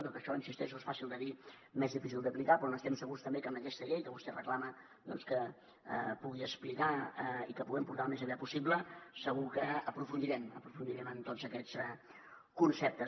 tot això hi insisteixo és fàcil de dir més difícil d’aplicar però n’estem segurs també que amb aquesta llei que vostè reclama que pugui explicar i que puguem portar al més aviat possible segur que aprofundirem en tots aquests conceptes